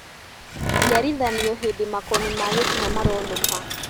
Njiarithanio hĩndĩ makoni ma gĩtina maronũka